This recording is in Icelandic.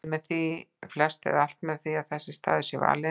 Mælir því flest eða alt með því að þessi staður sé valinn.